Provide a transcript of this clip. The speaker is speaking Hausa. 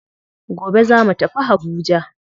Gobe zamu tafi habuja.